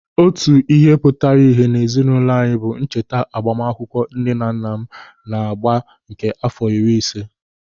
Otu ihe pụtara íhé n'ezinụlọ anyị bụ ncheta agbamakwụkwọ nne na nna m agba nke àfọ iri ise.